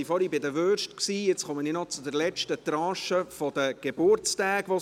Wir waren vorhin bei den Würsten, und nun komme ich noch zur letzten Tranche der vergangenen Geburtstage.